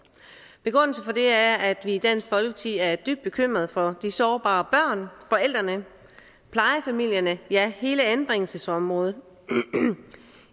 begrundelsen for det er at vi i dansk folkeparti er dybt bekymret for de sårbare børn forældrene plejefamilierne ja hele anbringelsesområdet